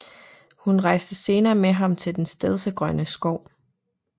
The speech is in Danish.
Hun rejste senere med ham til Den Stedsegrønne Skov